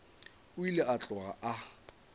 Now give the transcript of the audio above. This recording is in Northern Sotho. o ile a tloga a